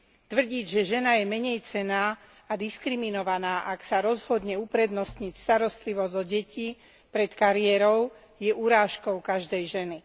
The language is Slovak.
Tvrdiť, že žena je menejcenná a diskriminovaná, ak sa rozhodne uprednostniť starostlivosť odeti pred kariérou, je urážkou každej ženy.